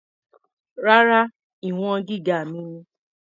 Rárá, ìwọ̀n gíga mi ni.